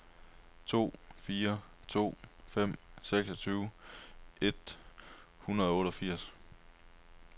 to fire to fem seksogtyve et hundrede og otteogfirs